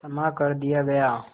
क्षमा कर दिया गया